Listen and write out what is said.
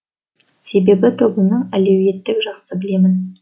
себебі тобымның әлеуетті жақсы білемін